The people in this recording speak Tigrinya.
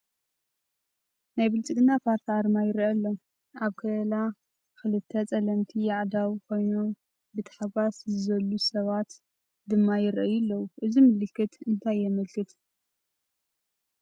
ናይ ብልፅግና ፓርቲ ኣርማ ይርአ ኣሎ፡፡ ኣብ ከለላ ክልተ ፀለምቲ ኣእዳው ኮይኖም ብተሓጓስ ዝዘሉ ሰባት ድማ ይርአዩ ኣለዉ፡፡ እዚ ምልክት እንታይ የመልክት?